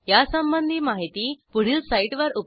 यासंबंधी माहिती पुढील साईटवर उपलब्ध आहे